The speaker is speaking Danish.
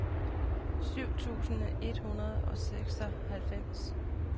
syv tusind et hundrede og seksoghalvfems